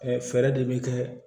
fɛɛrɛ de bi kɛ